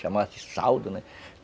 Chamava-se saldo, né?